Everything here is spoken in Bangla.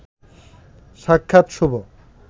সাক্ষাৎ শুভ